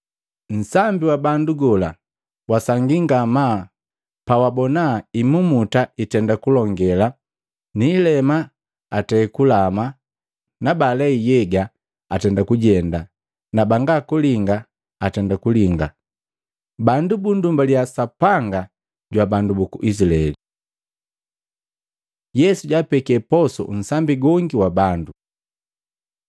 Nsambi wa bandu gola wasangii ngamaa pawabona, imumuta itenda kulongela na ilema atei kulama na baalei nhyega atenda kujenda na banga kulinga atenda kulinga, bandu bunndumbaliya Sapanga jwa bandu buku Izilaeli. Yesu jwaapeke posu nsambi gongi wa bandu Maluko 8:1-10